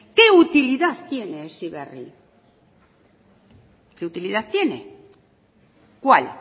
qué utilidad tiene heziberri qué utilidad tiene cuál